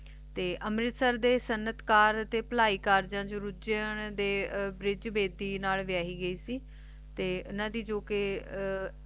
ਤੇ ਅੰਮ੍ਰਿਤਸਰ ਦੇ ਸਨਅਤਕਾਰ ਤੇ ਭਲਾਯਿਕਾਰ ਦੇ ਦੇ ਨਾਲ ਬਿਆਹੀ ਗਈ ਸੀ ਤੇ ਇੰਨਾ ਦੀ ਜੋ ਕ